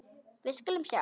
Við skulum sjá.